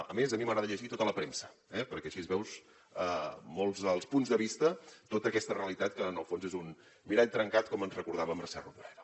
a més a mi m’agrada llegir tota la premsa perquè així veus molts dels punts de vista tota aquesta realitat que en el fons és un mirall trencat com ens recordava mercè rodoreda